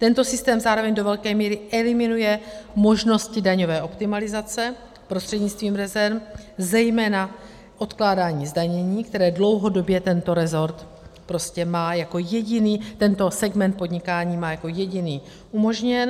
Tento systém zároveň do velké míry eliminuje možnosti daňové optimalizace prostřednictvím rezerv, zejména odkládání zdanění, které dlouhodobě tento rezort prostě má jako jediný, tento segment podnikání, má jako jediný umožněn.